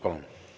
Palun!